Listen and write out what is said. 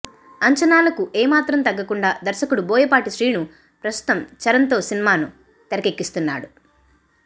అంచనాలకు ఏమాత్రం తగ్గకుండా దర్శకుడు బోయపాటి శ్రీను ప్రస్తుతం చరణ్తో సినిమాను తెరకెక్కిస్తున్నాడు